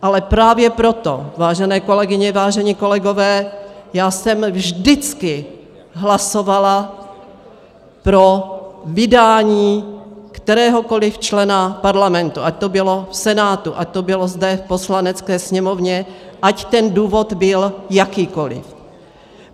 Ale právě proto, vážené kolegyně, vážení kolegové, já jsem vždycky hlasovala pro vydání kteréhokoli člena Parlamentu, ať to bylo v Senátu, ať to bylo zde v Poslanecké sněmovně, ať ten důvod byl jakýkoli.